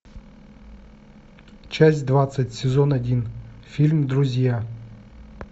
часть двадцать сезон один фильм друзья